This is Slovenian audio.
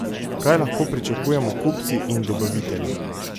Kaj lahko pričakujemo kupci in dobavitelji?